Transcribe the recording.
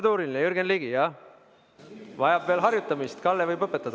vajab veel harjutamist, Kalle võib õpetada.